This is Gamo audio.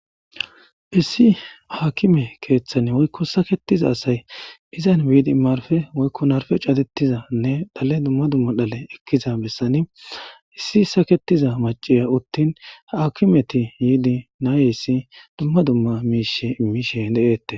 issi haakime keeththane woykko saketiza asay izan biidi marfe woykko narfe catettizanne dhale dumma dumma dhale ekkiza bessani issi saketiza maciya uttin akimeti yiidi naayeyssi dumma dumma miishe imishe de'eettes